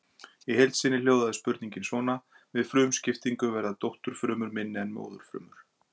Í heild sinni hljóðaði spurningin svona: Við frumuskiptingu verða dótturfrumur minni en móðurfrumur.